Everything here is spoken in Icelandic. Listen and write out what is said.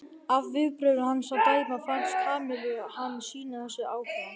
Af viðbrögðum hans að dæma fannst Kamillu hann sýna þessu áhuga.